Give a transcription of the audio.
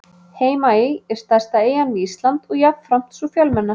Heimaey er stærsta eyjan við Ísland og jafnframt sú fjölmennasta.